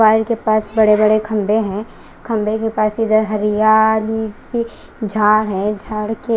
के पास बड़े बड़े खंभे हैं खंभे के पास इधर हरियाली सी झाड़ है झाड़ के--